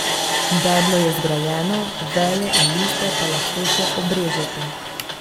Deblo je zgrajeno, veje in liste pa lahko še obrežete.